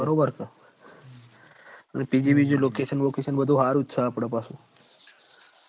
બરોબર ક PG location સારું સ આપડ પાસુ